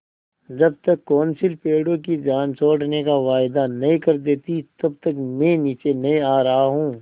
जब तक कौंसिल पेड़ों की जान छोड़ने का वायदा नहीं कर देती तब तक मैं नीचे नहीं आ रहा हूँ